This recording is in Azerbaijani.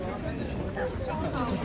Çox kiçik yaxşıdır da.